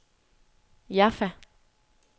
Jaffa